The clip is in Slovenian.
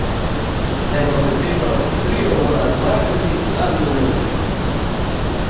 Z eno besedo, trio mora zmagati ali umreti!